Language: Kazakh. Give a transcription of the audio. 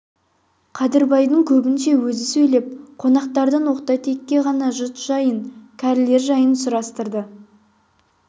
қадырбайдың көбінше өзі сөйлеп қонақтардан оқта-текте ғана жұт жайын кәрілер жайын сұрастырды